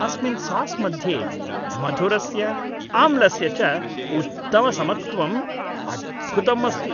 अस्मिन् सास् मध्ये मधुरस्य आम्लस्य च उत्तमसमत्वम् अद्भुतम् अस्ति।